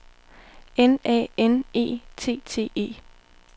N A N E T T E